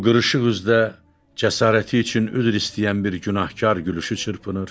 Bu qırışıq üzdə cəsarəti üçün üzr istəyən bir günahkar gülüşü çırpınır.